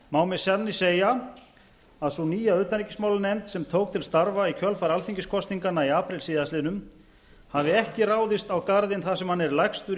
má með sanni segja að sú nýja utanríkismálanefnd sem tók til starfa í kjölfar alþingiskosninganna í apríl síðastliðnum hafi ekki ráðist á garðinn þar sem hann er lægstur í